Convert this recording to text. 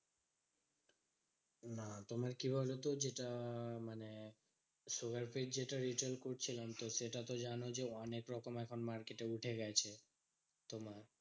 না তোমার কি বলতো? যেটা মানে sugar free র যেটা retail করছিলাম তো সেটা তো জানো যে অনেক রকম এখন market এ উঠে গেছে। তো